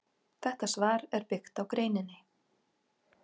Þetta svar er byggt á greininni.